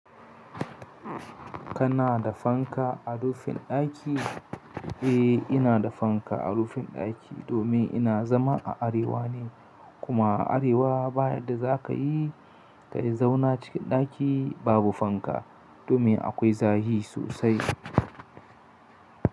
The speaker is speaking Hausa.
Kana da fanka a rufin daki? Eh, ina da fanka a rufin daki domin ina zama a arewa ne kuma a arewa bayadda za ka yi, ka yi zauna cikin daki babu fanka domin akwai zafi sosai.